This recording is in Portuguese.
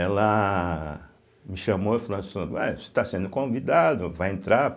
Ela me chamou e falou assim, ô eh você está sendo convidado, vai entrar.